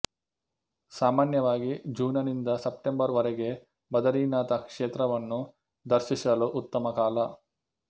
ಸಾಮಾನ್ಯವಾಗಿ ಜೂನನಿಂದ ಸೆಪ್ಟೆಂಬರ್ ವರೆಗೆ ಬದರಿನಾಥ ಕ್ಷೇತ್ರವನ್ನು ದರ್ಶಿಸಲು ಉತ್ತಮ ಕಾಲ